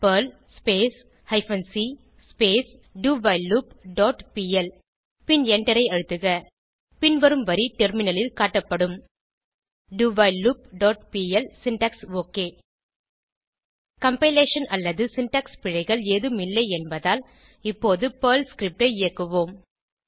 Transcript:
Perl hyphen c do while loop dot p l பின் எண்டரை அழுத்துக பின்வரும் வரி டெர்மினலில் காட்டப்படும் dowhileloopபிஎல் சின்டாக்ஸ் ஒக் கம்பைலேஷன் அல்லது சின்டாக்ஸ் பிழைகள் ஏதும் இல்லை என்பதால் இப்போது பெர்ல் ஸ்கிரிப்ட் ஐ இயக்குவோம்